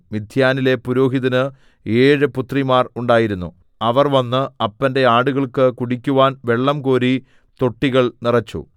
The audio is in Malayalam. മിദ്യാനിലെ പുരോഹിതന് ഏഴു പുത്രിമാർ ഉണ്ടായിരുന്നു അവർ വന്ന് അപ്പന്റെ ആടുകൾക്കു കുടിക്കുവാൻ വെള്ളംകോരി തൊട്ടികൾ നിറച്ചു